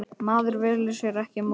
Maður velur sér ekki móður.